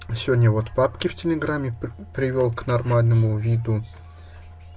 сегодня вот папки в телеграме привёл к нормальному виду